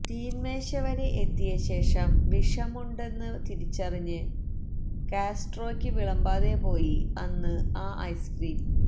തീന്മേശവരെ എത്തിയ ശേഷം വിഷമുണ്ടെന്ന് തിരിച്ചറിഞ്ഞ് കാസ്ട്രോയ്ക്ക് വിളമ്പാതെ പോയി അന്ന് ആ ഐസ്ക്രീം